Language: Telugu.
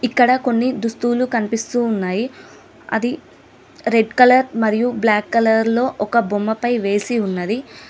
ఇక్కడ కొన్ని దుస్తూలు కనిపిస్తూ ఉన్నాయి అది రెడ్ కలర్ మరియు బ్లాక్ కలర్ లో ఒక బొమ్మపై వేసి ఉన్నది.